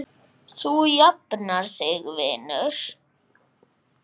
Þú jafnar þig vinur.